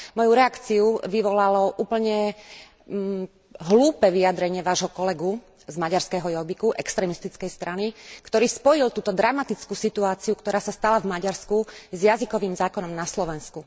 Moju reakciu vyvolalo úplne hlúpe vyjadrenie Vášho kolegu z maďarského Jóbiku, extrémistickej strany, ktorý spojil túto dramatickú situáciu, ktorá sa stala v Maďarsku, s jazykovým zákonom na Slovensku.